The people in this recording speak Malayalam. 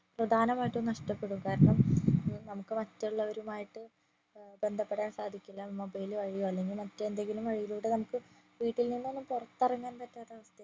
പ്രധാനമായ്റ്റും നഷ്ടപ്പെടും കാരണം നമ്മുക്ക് മറ്റുള്ളവരുമായിട്ട് ബന്ധപ്പെടാൻ സാധിക്കില്ല മൊബൈൽ വഴിയോ അല്ലെങ്കിൽ മറ്റെന്തെങ്കിലും വഴിയിലൂടെ നമ്മുക് വീട്ടിൽ നിന്നും പൊറത്തിറങ്ങാൻ പറ്റാത്ത അവസ്ഥ